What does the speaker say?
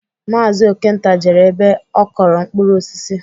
Maazi Okenta jere ebe ọ kọrọ mkpụrụ osisi